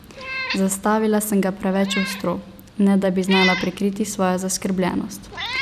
Zastavila sem ga preveč ostro, ne da bi znala prikriti svojo zaskrbljenost.